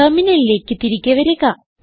ടെർമിനലിലേക്ക് തിരികെ വരിക